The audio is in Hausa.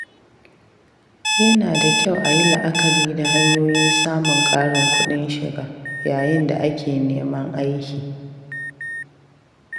Yana da kyau a yi la’akari da hanyoyin samun ƙarin kuɗin shiga yayin da ake neman aiki.